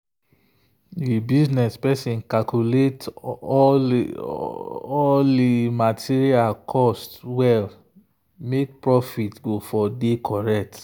the business person calculate all all material cost well make profit go dey correct.